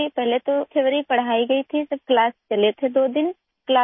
پہلے تھیوری پڑھائی گئی پھر کلاس دو دن چلی